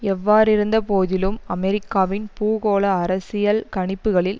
எவ்வாறிருந்தபோதிலும் அமெரிக்காவின் பூகோள அரசியல் கணிப்புகளில்